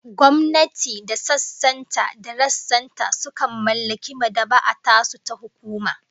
Gwamnati da sassan ta da rassan ta sukan mallaki mad'aba'a tasu ta hukuma